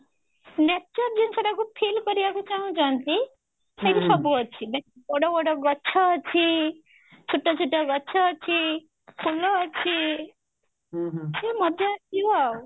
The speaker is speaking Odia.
nature ଜିନିଷ ଟାକୁ feel କରିବାକୁ ଚାହୁଁ ଛନ୍ତି ସେଠି ସବୁ ଅଛି ବଡ ବଡ ଗଛ ଅଛି ଛୋଟ ଛୋଟ ଗଛ ଅଛି ଅଛି ସେ ମଜା ଆସିବ ଆଉ